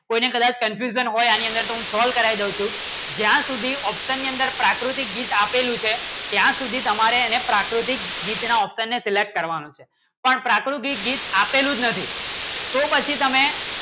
પ્રાકૃતિક ગીત આપેલું છે ત્યાં સુધી તમારે એને પ્રાકૃતિક ગીતના option ને select કરવાનું છે પણ પ્રાકૃતિક ગીત આપેલું નથી તો પછી તમે